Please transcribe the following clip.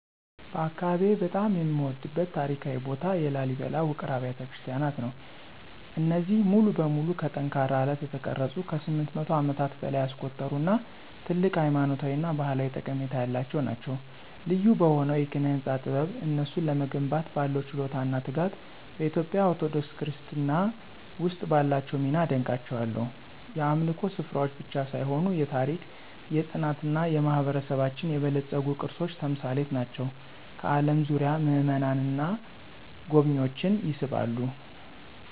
በአካባቢዬ በጣም የምወደድበት ታሪካዊ ቦታ የላሊበላ ውቅር አብያተ ክርስቲያናት ነው። እነዚህ ሙሉ በሙሉ ከጠንካራ አለት የተቀረጹት ከ800 ዓመታት በላይ ያስቆጠሩ እና ትልቅ ሃይማኖታዊ እና ባህላዊ ጠቀሜታ ያላቸው ናቸው። ልዩ በሆነው የኪነ-ህንፃ ጥበብ፣ እነሱን ለመገንባት ባለው ችሎታ እና ትጋት፣ በኢትዮጵያ ኦርቶዶክስ ክርስትና ውስጥ ባላቸው ሚና አደንቃቸዋለሁ። የአምልኮ ስፍራዎች ብቻ ሳይሆኑ የታሪክ፣ የፅናት እና የማህበረሰባችን የበለፀጉ ቅርሶች ተምሳሌት ናቸው፣ ከአለም ዙሪያ ምእመናንን እና ጎብኝዎችን ይስባሉ።